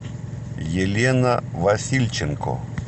елена васильченко